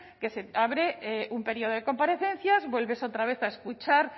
que se abre un periodo de comparecencias vuelves otra vez a escuchar